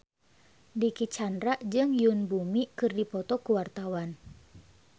Dicky Chandra jeung Yoon Bomi keur dipoto ku wartawan